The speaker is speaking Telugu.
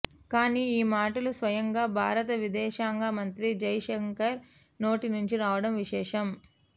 కానీ ఈ మాటలు స్వయంగా భారత విదేశాంగ మంత్రి జై శంకర్ నోటి నుంచి రావడం విశేషం